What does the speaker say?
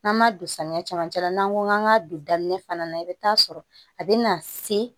N'an ma don samiya camancɛ la n'an ko k'an ka don daminɛ fana na i be taa sɔrɔ a be na se